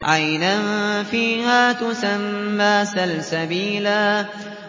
عَيْنًا فِيهَا تُسَمَّىٰ سَلْسَبِيلًا